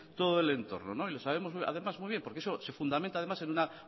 todo el entorno y lo sabemos además muy bien porque eso se fundamenta además en una